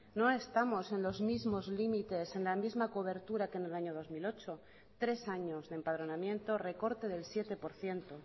no estamos en los mismos límites en la misma cobertura que en el año dos mil ocho tres años de empadronamiento recorte del siete por ciento